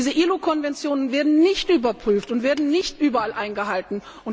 Diese ILO Konventionen werden nicht überprüft und werden nicht überall eingehalten.